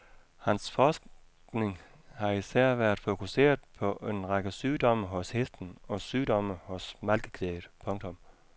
Hans forskning har især været fokuseret på en række sygdomme hos hesten og sygdomme hos malkekvæget. punktum